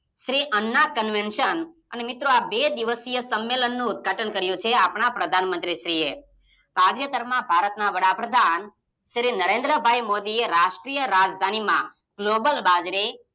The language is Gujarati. શ્રી અન્ના કોંવેશન અને મિત્રો આ બે દિવસય સંમેલનુ ઉદઘાટન કર્યું છે આપણા પ્રધાન મંત્રી શ્રી તાજેતરમાં ભારતના વડાપ્રધાન શ્રી નરેન્દ્ર ભાઈ મોદી એ રાષ્ટ્રીય રાજધાનીમાં ગ્લોબલ બાજરી